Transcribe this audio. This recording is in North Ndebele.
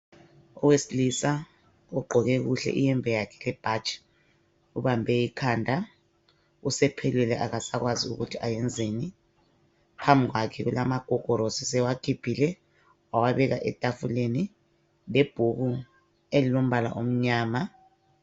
Owesilisa ogqqoke kuhle iyembe yakhe lebhatshi ubambe ikhanda, usephelelwe akasakwazi ukuthi ayenzeni phambi kwakhe kulamagogorosi usewakhuphile wawabeka etafuleni, ibhuku elilombala omnyama.